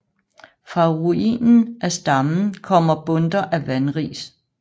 Fra ruinen af stammen kommer bundter af vanris